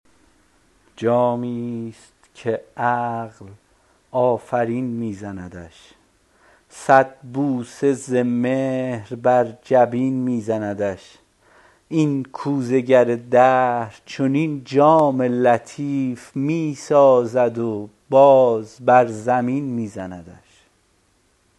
جامی ست که عقل آفرین می زندش صد بوسه ز مهر بر جبین می زندش این کوزه گر دهر چنین جام لطیف می سازد و باز بر زمین می زندش